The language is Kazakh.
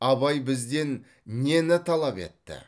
абай бізден нені талап етті